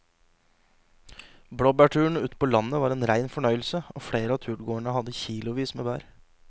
Blåbærturen ute på landet var en rein fornøyelse og flere av turgåerene hadde kilosvis med bær.